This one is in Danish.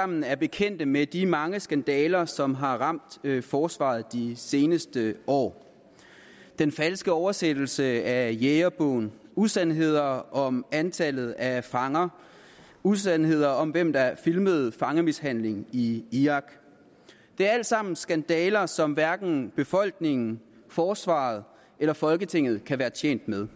sammen er bekendt med de mange skandaler som har ramt forsvaret de seneste år den falske oversættelse af jægerbogen usandheder om antallet af fanger usandheder om hvem der filmede fangemishandling i irak det er alt sammen skandaler som hverken befolkningen forsvaret eller folketinget kan være tjent med